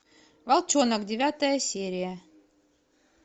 волчонок девятая серия